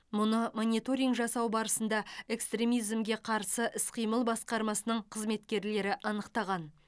мұны мониторинг жасау барысында экстремизмге қарсы іс қимыл басқармасының қызметкерлері анықтаған